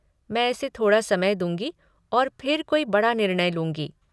मैं इसे थोड़ा समय दूँगी और फिर कोई बड़ा निर्णय लूँगी।